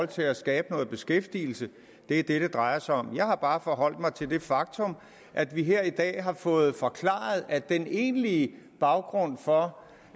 til at skabe noget beskæftigelse det er det det drejer sig om jeg har bare forholdt mig til det faktum at vi her i dag har fået forklaret at den egentlige baggrund for